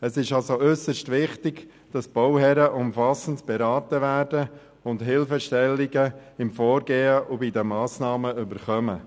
Es ist also äusserst wichtig, dass die Bauherren umfassend beraten werden und Hilfestellungen beim Vorgehen und den Massnahmen erhalten.